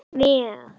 Mér er alvara.